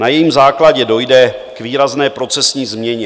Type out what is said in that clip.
Na jejím základě dojde k výrazné procesní změně.